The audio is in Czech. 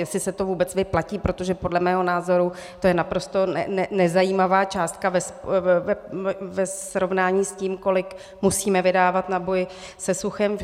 Jestli se to vůbec vyplatí, protože podle mého názoru to je naprosto nezajímavá částka ve srovnání s tím, kolik musíme vydávat na boj se suchem.